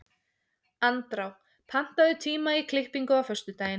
Andrá, pantaðu tíma í klippingu á föstudaginn.